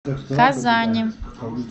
казани